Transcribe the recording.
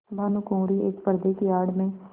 भानुकुँवरि एक पर्दे की आड़ में